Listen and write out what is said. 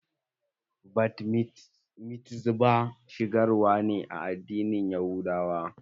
Bat mitzbah shigar wa ne a addinin yahudawa.